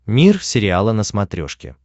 мир сериала на смотрешке